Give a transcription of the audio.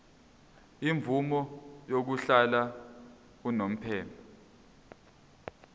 imvume yokuhlala unomphema